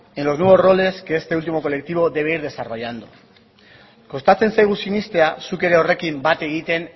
en los nuevos roles que este último colectivo debe ir desarrollando kostatzen zaigu sinestea zuk ere horrekin bat egiten